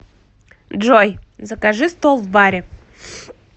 джой закажи стол в баре